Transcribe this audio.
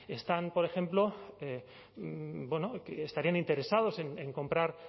están por ejemplo que estarían interesados en comprar